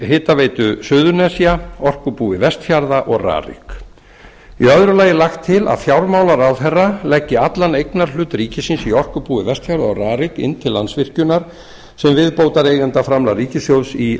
hitaveitu suðurnesja orkubúi vestfjarða og rarik í öðru lagi er lagt til að fjármálaráðherra leggi allan eignarhlut ríkisins í orkubúi vestfjarða og rarik inn til landsvirkjunar sem viðbótareigendaframlag ríkissjóðs í